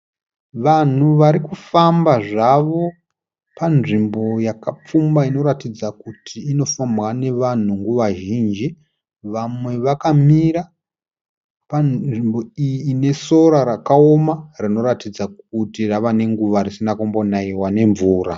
Vanhu vari kufamba zvavo panzvimbo yakapfumba inoratidza kuti inofambwa nevanhu nguva zhinji. Vamwe vakamira panzvimbo iyi ine sora rakaoma rinoratidza kuti rave nenguva risina kumbonaiwa nemvura.